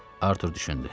Artur düşündü.